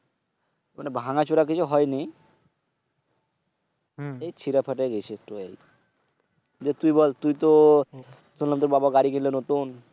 মানি ভাঙাচুরা কিছু হয়নি। এই ছিঁড়া ফাটা গিয়েছে একটু এই। যে তুই বল তুই তো শোনলাম তুর বাবা গাড়ি কিনল নতুন?